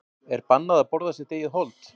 er bannað að borða sitt eigið hold